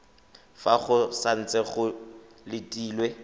fa go santse go letilwe